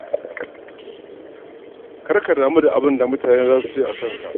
Kar kada mu da abinda mutane za su ce a kanka.